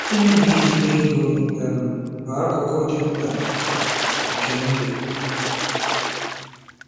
Ime na ijikwa ego um bụ akụkụ dị mkpa nke ndụ.